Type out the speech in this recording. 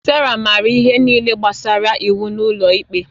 Sandra maara ihe niile gbasara iwu n'ụlọ ikpe